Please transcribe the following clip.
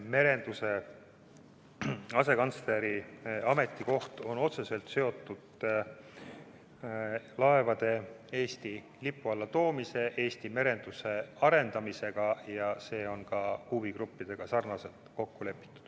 Merenduse asekantsleri ametikoht on otseselt seotud laevade Eesti lipu alla toomisega, üldse Eesti merenduse arendamisega ja see on ka huvigruppidega nii kokku lepitud.